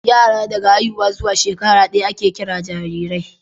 yara daga haihuwa zuwa shekara daya ake Kiran jarirai